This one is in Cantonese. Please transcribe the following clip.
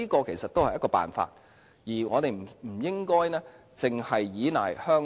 這是辦法之一，我們不應單依賴香港。